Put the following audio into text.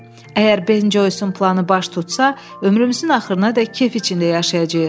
Əgər Ben Joysin planı baş tutsa, ömrümüzün axırınadək kef içində yaşayacağıq.